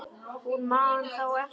Hún man þá eftir honum.